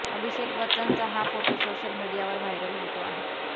अभिषेक बच्चनचा हा photo social मीडियावर व्हायरल होतो आहे